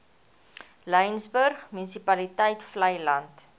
laingsburg munisipaliteit vleiland